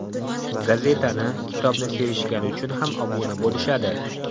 Gazetani, kitobni sevishgani uchun ham obuna bo‘lishadi.